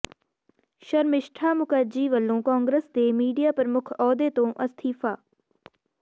ਸ਼ਰਮਿਸ਼ਠਾ ਮੁਖਰਜੀ ਵੱਲੋਂ ਕਾਂਗਰਸ ਦੇ ਮੀਡੀਆ ਪ੍ਰਮੁੱਖ ਅਹੁਦੇ ਤੋਂ ਅਸਤੀਫ਼ਾ